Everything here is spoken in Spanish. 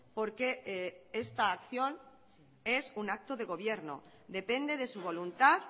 porque esta acción es un acto de gobierno depende de su voluntad